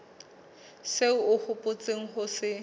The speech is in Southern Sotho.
seo o hopotseng ho se